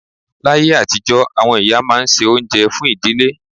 Láyé àtijọ́, àwọn ìyá máa ń se oúnjẹ fún ìdílé